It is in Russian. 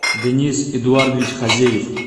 денис эдуардович хазеев